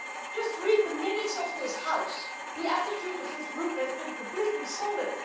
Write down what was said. Just read the minutes of this House the attitude of this Group has been completely solid.